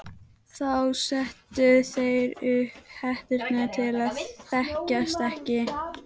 Þá settu þeir upp hetturnar til að þekkjast ekki.